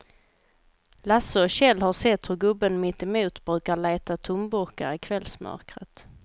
Lasse och Kjell har sett hur gubben mittemot brukar leta tomburkar i kvällsmörkret.